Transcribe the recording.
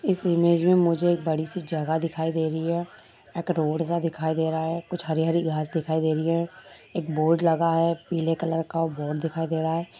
इस इमेज में मुझे एक बड़ी सी जगह दिखाई दे रही है। एक रोड सा दिखाई दे रहा है कुछ हरी-हरी घांस दिखाई दे रही है। एक बोर्ड लगा है पीले कलर का बोर्ड दिखाई दे रहा है।